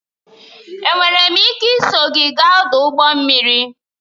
Enwere m ike iso gị gaa n'ọdụ ụgbọ mmiri?